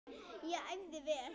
Ég æfði vel.